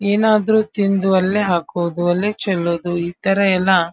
ಏನಾದರೂ ತಿಂದು ಅಲ್ಲೇ ಹಾಕೋದು ಅಲ್ಲೇ ಚೆಲ್ಲೋದು ಇತರ ಎಲ್ಲ --